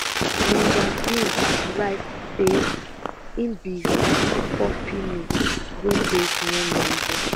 linda bin write say i be fifty four female wey base near london